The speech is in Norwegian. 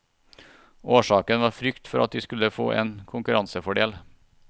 Årsaken var frykt for at de skulle få en konkurransefordel.